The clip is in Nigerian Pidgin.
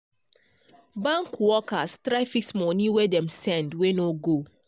bank workers try fix money wey dem send wey no go